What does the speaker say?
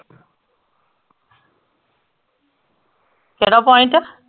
ਕੇਹੜਾ point